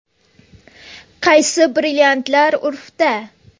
Qaysi brilliantlar urfda?